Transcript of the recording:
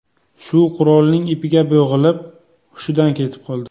Shu qurolining ipiga bo‘g‘ilib, hushidan ketib qoldi.